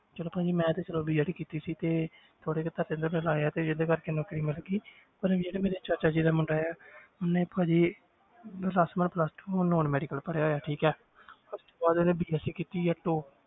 ਚਲੋ ਭਾਜੀ ਮੈਂ ਤੇ ਚਲੋ BED ਕੀਤੀ ਸੀ ਤੇ ਥੋੜ੍ਹੇ ਜਿਹੇ ਪੈਸੇ ਲਾਏ ਆ ਤੇ ਜਿਹਦੇ ਕਰਕੇ ਨੌਕਰੀ ਮਿਲ ਗਈ ਪਰ ਜਿਹੜਾ ਮੇਰਾ ਚਾਚਾ ਜੀ ਦਾ ਮੁੰਡਾ ਹੈ ਉਹਨੇ ਭਾਜੀ plus one plus two ਹੁਣ non medical ਕਰਿਆ ਹੋਇਆ ਠੀਕ ਹੈ ਇਸ ਤੋਂ ਬਾਅਦ ਉਹਨੇ BSC ਕੀਤੀ ਹੈ